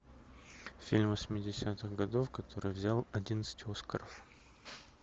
фильм восьмидесятых годов который взял одиннадцать оскаров